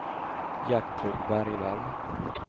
Gertrud Bergvall